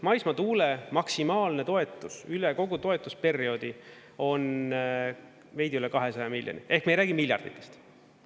Maismaatuule maksimaalne toetus üle kogu toetusperioodi on veidi üle 200 miljoni ehk me ei räägi miljarditest.